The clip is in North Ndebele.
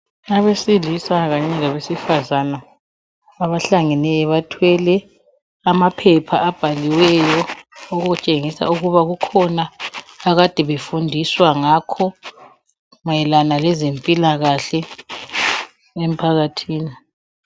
Abesilisa kanye labesifazana abahlangeneyo bathwele amaphepha abhaliweyo okutshengisa ukuba kukhona ade befundiswa ngakho mayelana lezempilakahle emphakathini.